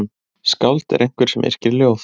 Skáld er einhver sem yrkir ljóð.